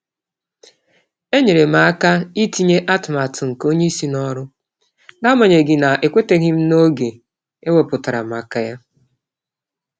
Enyerem aka itinye atụmatụ nke onyeisi n'ọrụ, naagbanyeghi na ekwetachaghịm n'oge eweputara maka yá